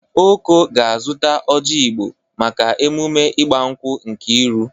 Okoro ga-azụta oji Igbo maka emume igbankwụ Nkeiru